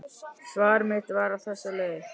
Svar mitt var á þessa leið